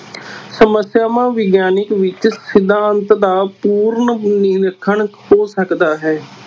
ਸਮੱਸਿਆਵਾਂ ਵਿਗਿਆਨਕ ਵਿੱਚ ਸਿਧਾਂਤ ਦਾ ਪੂਰਨ ਨਿਰੀਖਣ ਹੋ ਸਕਦਾ ਹੈ।